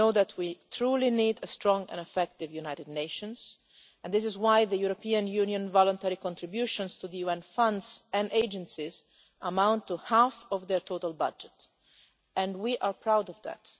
We know that we truly need a strong and effective United Nations, and this is why the European Union's voluntary contributions to the UN funds and agencies amount to half of their total budget, and we are proud of that.